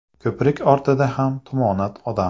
Ko‘prik ortida ham tumonat odam.